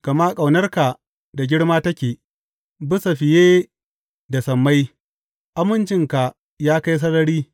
Gama ƙaunarka da girma take, bisa fiye da sammai; amincinka ya kai sarari.